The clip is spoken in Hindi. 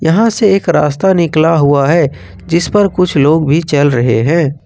यहां से एक रास्ता भी निकला हुआ है जिसपर कुछ लोग भी चल रहे हैं।